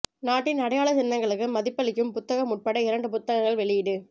நாட்டின் அடையாள சின்னங்களுக்கு மதிப்பளிக்கும் புத்தகம் உட்பட இரு புத்தகங்கள் வெளியீடு